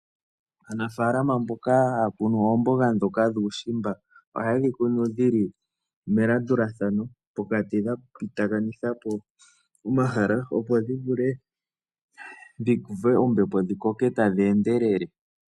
Aanafalama mboka haya kunu oomboga ndhoka dhuushimba ohaye dhi kunu dhi li melandulathano pokati dha pititha po omahala, opo dhi vule dhi uve ombepo dhi koke tadhi endelele.